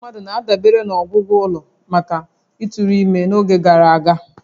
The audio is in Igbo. Ndị mmadụ na-adabere na ọgwụgwọ ụlọ maka ịtụrụ ime n'oge gara aga